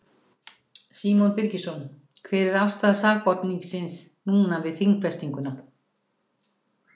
Símon Birgisson: Hver er afstaða sakborningsins núna við þingfestinguna?